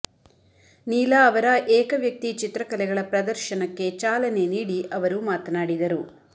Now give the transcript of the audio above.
ನೀಲಾ ಅವರ ಏಕವ್ಯಕ್ತಿ ಚಿತ್ರಕಲೆಗಳ ಪ್ರದರ್ಶನಕ್ಕೆ ಚಾಲನೆ ನೀಡಿ ಅವರು ಮಾತನಾಡಿದರು